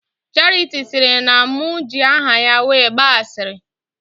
Charity sịrị na mụ ji aha ya wee gbaa ashịrị